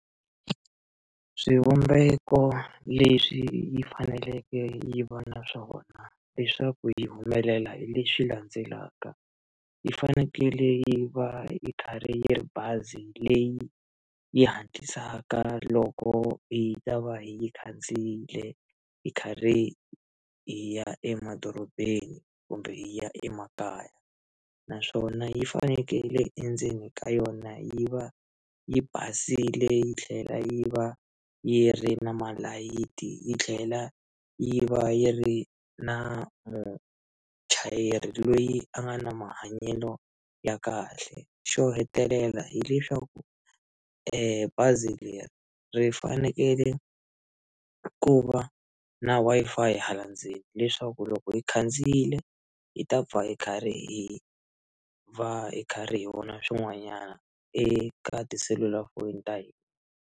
Swivumbeko leswi yi faneleke yi va na swona leswaku yi humelela hi leswi landzelaka yi fanekele yi va yi karhi yi ri bazi leyi yi hantlisaka loko yi ta va yi khandziyile yi karhi yi ya emadorobeni kumbe hiya emakaya naswona yi fanekele endzeni ka yona yi va yi basile yi tlhela yi va yi ri na malayithi yi tlhela yi va yi ri na muchayeri loyi a nga na mahanyelo ya kahle xo hetelela hileswaku bazi leri ri fanekele hi ku va na Wi-Fi hi hala ndzeni leswaku loko hi khandziyile hi ta pfa hi karhi hi va hi karhi hi wona swin'wanyana eka tiselulafoni ta hina.